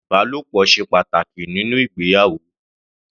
Ìbálòpọ̀ ṣe pàtàkì nínú ìgbéyàwó.